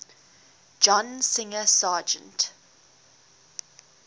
john singer sargent